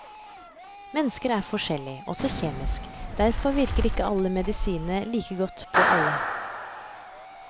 Mennesker er forskjellige, også kjemisk, derfor virker ikke alle medisiner like godt på alle.